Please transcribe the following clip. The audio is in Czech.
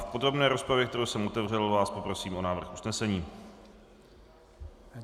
V podrobné rozpravě, kterou jsem otevřel, vás poprosím o návrh usnesení.